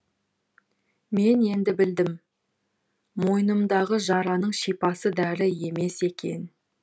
мен енді білдім мойнымдағы жараның шипасы дәрі емес екен